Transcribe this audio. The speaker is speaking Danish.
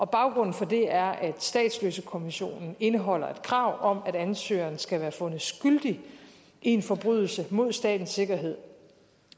baggrunden for det er at statsløsekonventionen indeholder et krav om at ansøgeren skal være fundet skyldig i en forbrydelse mod statens sikkerhed